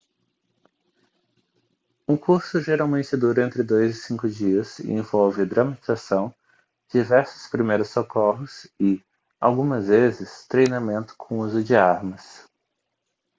um curso geralmente dura entre 2 e 5 dias e envolve dramatização diversos primeiros socorros e algumas vezes treinamento com uso de armas